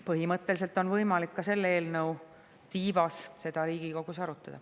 Põhimõtteliselt on võimalik ka selle eelnõu tiivas seda Riigikogus arutada.